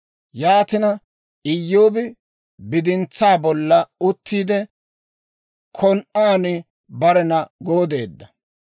Yaatina, Iyyoobi bidintsaa bolla uttiide, kon"aan barena gooddeedda.